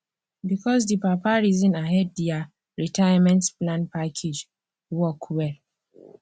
because the papa reason ahead their retirement plan package work well